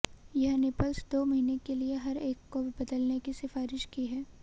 यह निपल्स दो महीने के लिए हर एक को बदलने की सिफारिश की है